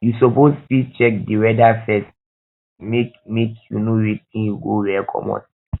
you suppose fit check di weather first make make you know wetin you go wear comot